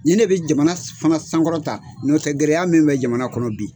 Nin ne bɛ jamana fana sankɔrɔ ta n'o tɛ gɛrɛya min bɛ jamana kɔnɔ bi